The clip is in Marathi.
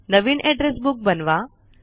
नवीन एड्रेस बुक बनवा